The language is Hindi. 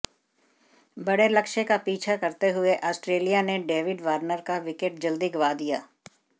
बड़े लक्ष्य का पीछा करते हुए ऑस्ट्रेलिया ने डेविड वार्नर का विकेट जल्दी गंवा दिया